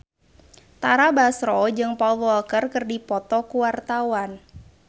Tara Basro jeung Paul Walker keur dipoto ku wartawan